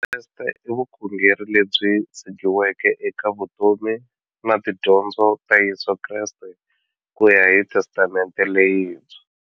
Vukreste i vukhongeri lebyi tshegiweke eka vutomi na tidyondzo ta Yesu Kreste kuya hi Testamente leyintshwa.